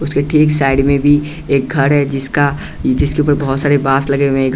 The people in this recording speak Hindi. उसके ठीक साइड में भी एक घर है जिसका जिसके ऊपर बहोत सारे बास लगे हुए है।